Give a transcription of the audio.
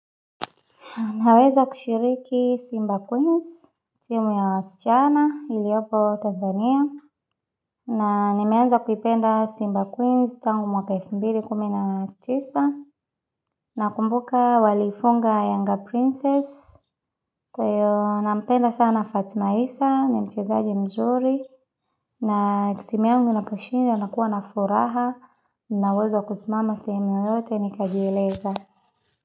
Naweza kushiriki Simba Queens, timu ya wasichana, iliopo Tanzania. Na nimeanza kuipenda Simba Queens tangu mwakaifumbidi kumina tisa. Na kumbuka walifunga Yanga Princess. Kweyo, na mpenda sana Fatima Isa, nimchezaji mzuri. Na kitimia mginaposhinja, nakuwa na furaha. Naweza kusimama semi yoyote, nikajieleza.